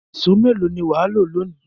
Ìṣó mélòó ni wà á lò lónìí?